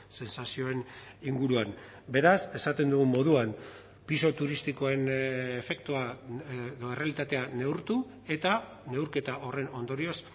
sentsazioen inguruan beraz esaten dugun moduan pisu turistikoen efektua edo errealitatea neurtu eta neurketa horren ondorioz